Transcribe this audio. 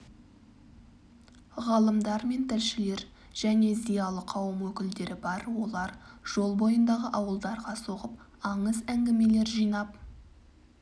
ғалымдар мен тілшілер және зиялы қауым өкілдері бар олар жол бойындағы ауылдарға соғып аңыз-әңгімелер жинап